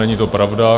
Není to pravda.